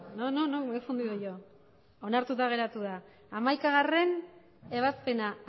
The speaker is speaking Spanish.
no no no que me he confundido yo onartuta geratu da hamaikagarrena ebazpena